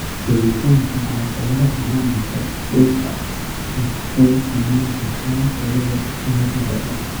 Joogitaanka caqabadaha maamulka dhulka waxay saameyn kartaa tayada daaqa lo'da.